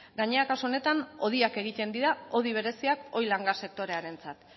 gainera kasu honetan hodiak egiten dira hodi bereziak oil and gas sektorearentzat